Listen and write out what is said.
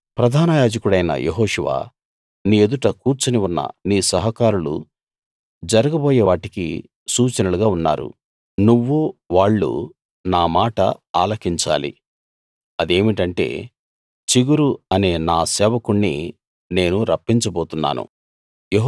ప్రధాన యాజకుడవైన యెహోషువా నీ యెదుట కూర్చుని ఉన్న నీ సహకారులు జరగబోయేవాటికి సూచనలుగా ఉన్నారు నువ్వూ వాళ్ళూ నా మాట ఆలకించాలి అది ఏమిటంటే చిగురు అనే నా సేవకుణ్ణి నేను రప్పించబోతున్నాను